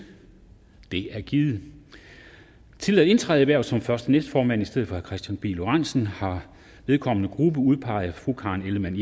det er givet til at indtræde i hvervet som første næstformand i stedet for kristian pihl lorentzen har vedkommende gruppe udpeget karen ellemann